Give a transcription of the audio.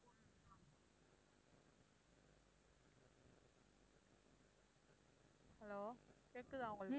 hello கேக்குதா உங்களுக்கு?